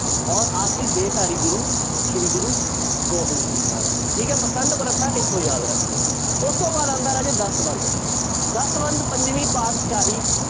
ਔਰ ਆਖਰੀ ਦੇਹ ਧਾਰੀ ਗੁਰੂ ਸ੍ਰੀ ਗੁਰੂ ਗੋਬਿੰਦ ਸਿੰਘ ਜੀ ਮਹਾਰਾਜ ਜੀ, ਠੀਕ ਹੈ ਮਸੰਦ ਪ੍ਰਥਾ ਇੱਥੋਂ ਯਾਦ ਰੱਖ ਲਇਓ ਉਸ ਤੋਂ ਬਾਅਦ ਆਉਂਦਾ ਰਾਜਾ ਦਸਵੰਧ ਦਸਵੰਧ ਪੰਜਵੀਂ ਪਾਤਿਸ਼ਾਹੀ